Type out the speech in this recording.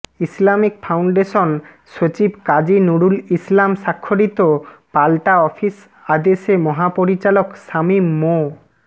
Islamic foundation সচিব কাজী নূরুল ইসলাম স্বাক্ষরিত পাল্টা অফিস আদেশে মহাপরিচালক সামীম মো